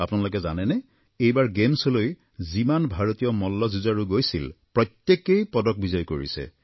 আপোনালোকে জানেনে এইবাৰ গেমছলৈ যিমান ভাৰতীয় মল্লযুঁজাৰু গৈছিল প্ৰত্যেকেই পদক বিজয় কৰিছে